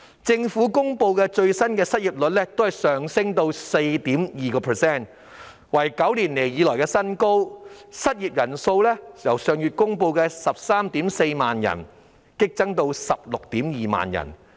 最新公布的失業率上升至 4.2%， 是9年來的新高，失業人數亦由上月公布的 134,000 人激增至 162,000 人。